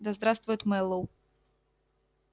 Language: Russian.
да здравствует мэллоу